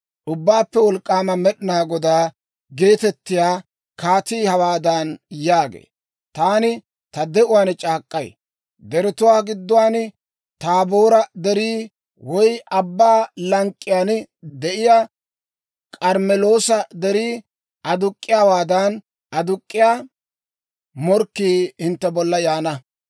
Ubbaappe Wolk'k'aama Med'inaa Godaa geetettiyaa Kaatii hawaadan yaagee; «Taani ta de'uwaan c'aak'k'ay: deretuwaa gidduwaan Taaboora Derii, woy abbaa lank'k'iyaan de'iyaa K'armmeloosa Derii aduk'k'iyaawaadan aduk'k'iyaa morkkii hintte bolla yaana.